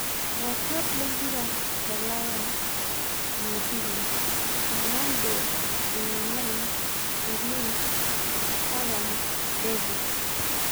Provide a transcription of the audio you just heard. Iratiot le mpira tolaya Jumapili: Ronaldo, Aubemeyang, Grealish, haaland, David